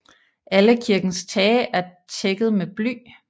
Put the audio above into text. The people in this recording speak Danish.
Alle kirkens tage er tækket med bly